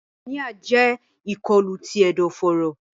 Pneumonia jẹ ikolu ti ẹdọforo.